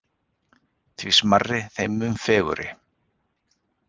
Því smærri þeim mun fegurri.